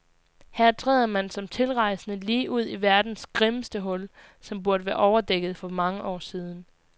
Her træder man som tilrejsende lige ud i verdens grimmeste hul, som burde have været overdækket for mange år siden.